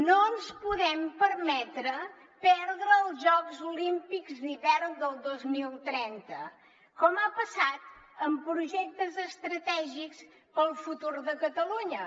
no ens podem permetre perdre els jocs olímpics d’hivern del dos mil trenta com ha passat amb projectes estratègics per al futur de catalunya